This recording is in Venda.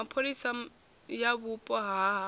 mapholisa ya vhupo ha havho